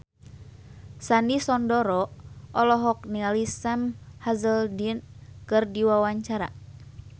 Sandy Sandoro olohok ningali Sam Hazeldine keur diwawancara